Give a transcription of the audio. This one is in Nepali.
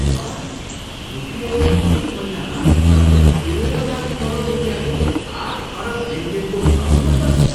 वाह! युपिआईले एक महिनामा लगभग तेह्र लाख करोड रुपियाँको आठ अरब लेनदेनको प्रबन्ध गर्छ।